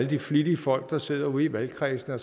de flittige folk der sidder ude i valgkredsene